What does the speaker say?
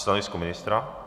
Stanovisko ministra?